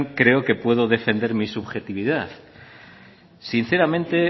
creo que puedo defender mi subjetividad sinceramente